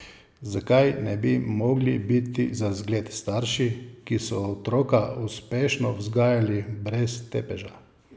Zakaj ne bi mogli biti za zgled starši, ki so otroka uspešno vzgajali brez tepeža?